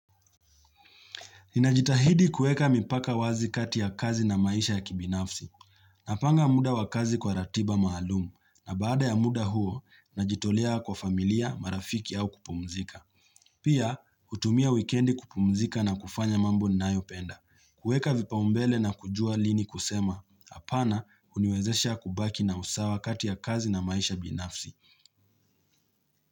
Ninajitahidi kueka mipaka wazi kati ya kazi na maisha ya kibinafsi, napanga muda wa kazi kwa ratiba maalumu, na baada ya muda huo, najitolea kwa familia, marafiki au kupumzika. Pia, hutumia wikendi kupumzika na kufanya mambo ni nayopenda. Kueka vipaumbele na kujua lini kusema, apana uniwezesha kubaki na usawa kati ya kazi na maisha ya binafsi.